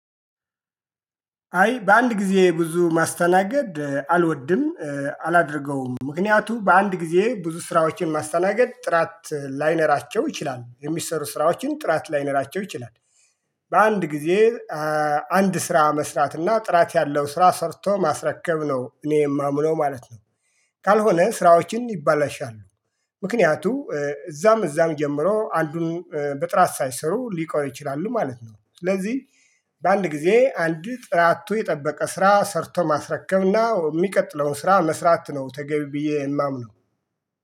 አይ በአንድ ጊዜ ብዙ ማስተናገድ አልወድም። አላደርገውምም ምክንያቱ በአንድ ጊዜ ብዙ ስራዎችን ማስተናገድ ጥራት ላይኖራቸው ይችላል የሚሰሩ ስራዎችን ጥራት ላይኖራቸው ይችላል። በአንድ ጊዜ አንድ ስራ መስራት እና ጥራት ያለው ስራ ሰርቶ ማስረከብ ነው እኔ የማምነው ማለት ነው። ካልሆነ ስራዎችም ይባላሻሉ። ምክንያቱ እዛም እዛም ጀምሮ አንዱን በጥራት ሳይሰሩ ሊቀሩ ይችላሉ ማለት ነው። ስለዚህ በአንድ ጊዜ አንድ ጥራቱን የጠበቀ ስራ ሰርቶ ማስረከብና የሚቀጥለውን ስራ መስራት ነው ተገቢ ብዬ የማምነው